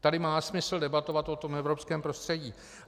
Tady má smysl debatovat o tom evropském prostředí.